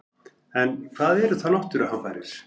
En hvað eru þá náttúruhamfarir?